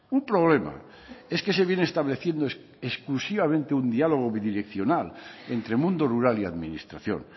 un problema es que se viene estableciendo exclusivamente un diálogo bidireccional entre mundo rural y administración